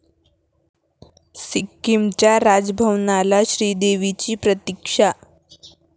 सिक्कीमच्या राजभवनाला श्रीदेवीची प्रतिक्षा